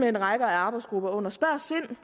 en række arbejdsgrupper spørg sind